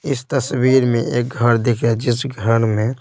इस तस्वीर में एक घर दिखया जिस घर में--